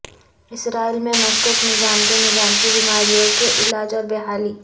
اسرائیل میں مشکوک نظام کے نظام کی بیماریوں کے علاج اور بحالی